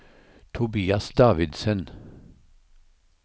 Tobias Davidsen